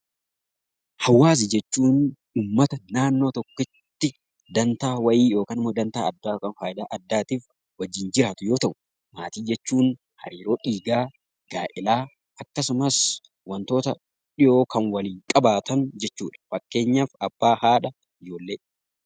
Hawaasa jechuun uummata naannoo tokkotti dantaa wayii yookaan ammoo dantaa addaa yookaan faayidaa addaatiif wajjin jiraatu yoo ta'u, maatii jechuun hariiroo dhiigaa, gaa'elaa akkasumas wantoota dhiyoo kan waliin qabaatan jechuudha. Fakkeenyaaf abbaa , haadha, ijoollee.